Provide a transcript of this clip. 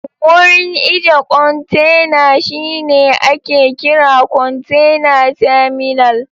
Wurin ije kontena shine ake kira kontena taminal